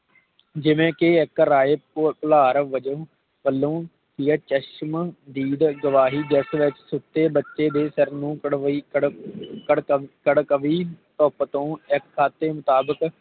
ਜਿਵੇ ਕਿ ਇਕ ਰਾਹੇ ਭੁ ਭੁਲਾਰ ਵਜੋਂ ਵਲੋਂ ਪਿਆਚਸ਼ਮ ਦੀਦ ਦਵਾਹੀ ਜਿਸ ਵਿਚ ਸੁਤੇ ਬੱਚੇ ਦੇ ਸਿਰ ਨੂੰ ਬਣਵਈ ਘੜ ਘੜ ਘੜਘਵੀ ਧੁੱਪ ਤੋਂ ਇਕ ਖਾਤੇ ਮੁਤਾਬਿਕ